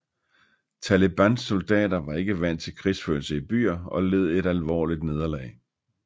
Talibans soldater var ikke vant til krigførelse i byer og led et alvorligt nederlag